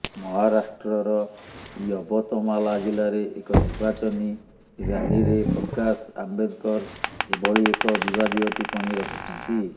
ମହାରାଷ୍ଟ୍ରର ୟବତମାଲା ଜିଲ୍ଲାରେ ଏକ ନିର୍ବାଚନୀ ରୢାଲିରେ ପ୍ରକାଶ ଆମ୍ବେଦକର ଏଭଳି ଏକ ବିବାଦୀୟ ଟିପ୍ପଣୀ ରଖିଛନ୍ତି